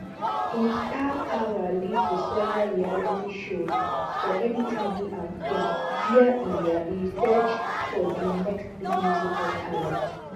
im star power lead to several reality shows for mtv and vhone wia e wia e search for di next big musical talent